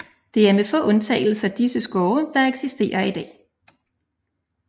Det er med få undtagelser disse skove der eksisterer i dag